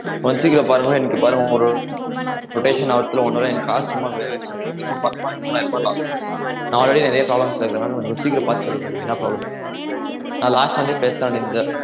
கொஞ்சம் சீக்கிரம் பாருங்க எனக்கு பாருங்க ஒரு rotation ஆவறதுல one hour ல எனக்கு காசு சும்மா waste ஆஹ் போது மூணு மாசமா எனக்கு மூணாயிரரூபா loss ஆய்டுச்சு நா already நிறைய problems ல இருக்கேனால கொஞ்சம் சீக்கிரம் பாத்து சொல்லுங்க எனக்கு என்ன problem னு நான் last time மே பேசலாம் இருந்தேன்